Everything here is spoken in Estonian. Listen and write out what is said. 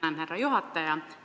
Tänan, härra juhataja!